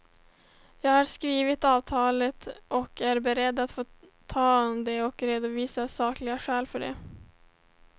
Jag har skrivit avtalet och är beredd att ta det och redovisa sakliga skäl för det.